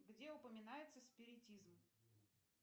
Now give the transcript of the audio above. где упоминается спиритизм